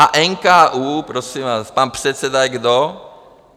A NKÚ, prosím vás, pan předseda je kdo?